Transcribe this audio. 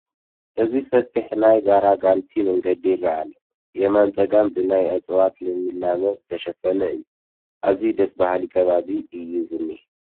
ኣብዚ ሰፊሕ ናይ ጋራጋንቲ መንገዲ ይርአ ኣሎ፡፡ የማነ ፀጋም ብናይ እፅዋት ልምላመ ዝተሸፈነ እዩ፡፡ ኣዝዩ ደስ በሃሊ ከባቢ እዩ ዝኒሀ፡፡